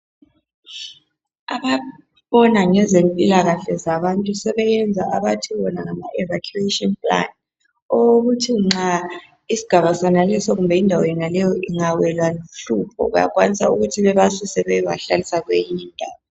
ababona ngezempilakahle zabantu sebeyenza abathiwona ngama evacuation plan okokuthi nxa isigaba sonaleso kumbe indawo yonaleyo ingawelwa luhlupho bayakwanisa ukuthi bebasuse bayebahlalisa kweyinye indawo